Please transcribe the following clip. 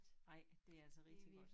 Ej det altså rigtig godt